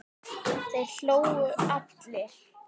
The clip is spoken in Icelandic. Þeir hlógu allir.